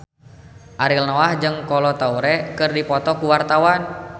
Ariel Noah jeung Kolo Taure keur dipoto ku wartawan